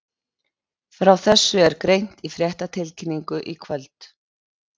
Frá þessu er greint í fréttatilkynningu í kvöld.